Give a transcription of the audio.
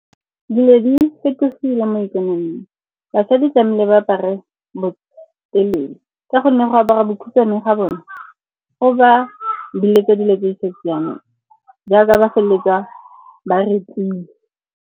Dilo di fetogile mo ikonoming. Basadi tlamehile ba apare botelele ka gonne go apara bokhutshwane ga bone go ba biletsa dilo tse di sa siamang, jaaka ba feleletsa ba rape-ilwe.